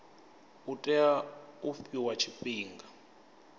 u tea u fhiwa tshifhinga